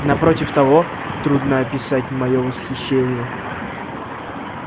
напротив того трудно описать моё восхищение